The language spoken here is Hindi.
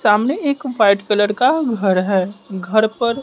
सामने एक वाइट कलर का घर है घर पर--